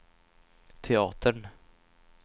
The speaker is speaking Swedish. teatern